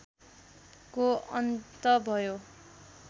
को अन्त भयो